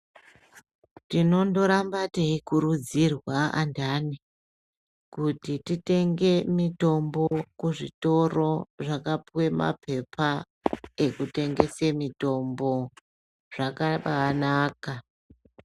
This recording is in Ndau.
Tinonoramba tichikurudzirwa andani kuti titenge mitombo kuzvitoro zvakapiwe mapepa ekutengese mitombo zvakambaanaka.